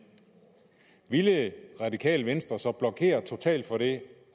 ville det radikale venstre så blokere totalt for det